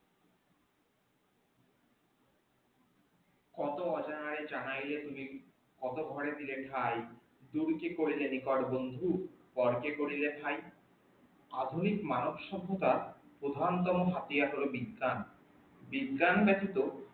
কতো অজানাই জানাইলে তুমি কতো ঘরে দিলে ঠাই তুমি কি করিলে নিকট বন্ধু পরকে করিলে ঠাই, আধুনিক মানব সভত্যার প্রথান্তম হাতিয়ার হল বিজ্ঞান, বিজ্ঞান ব্যাতিত